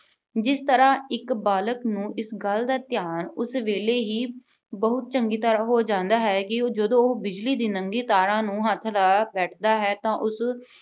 ਜਿਸ ਤਰ੍ਹਾਂ ਇੱਕ ਬਾਲਕ ਨੂੰ ਇਸ ਗੱਲ ਦਾ ਧਿਆਨ ਉਸ ਵੇੇਲੇ ਹੀ ਬਹੁਤ ਚੰਗੀ ਤਰ੍ਹਾਂ ਹੋ ਜਾਂਦਾ ਹੈ ਕਿ ਉਹ ਜਦੋਂ ਉਹੋ ਬਿਜਲੀ ਦੀ ਨੰਗੀ ਤਾਰਾਂ ਨੂੰ ਹੱਥ ਲਾ ਬੈਠਦਾ ਹੈ ਤਾਂ ਉਸ